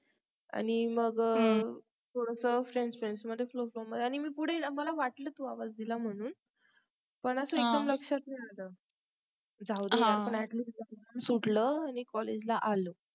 आणि मग थोडास FRIENDS FRIENDS मध्येच होतो आणि मी पुढे मला वाटल तू आवाज दिला म्हणून पण असं एकदम लक्षात नाही आलं जाऊदे असं सुटलं आणि collage ला आलं